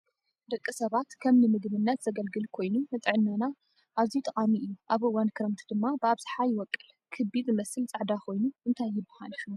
ደቂ ሰባት ከም ንምግብነት ዘገልግል ኮይኑ ንጥዕናና ኣዝዩ ጠቃሚ እዩ ኣብ እዋን ክረምቲ ድማ ብኣብዛሓ ይወቅል ። ክቢ ዝመስል ፃዕዳ ኮይኑ እንታይ ይብሃል ሽሙ?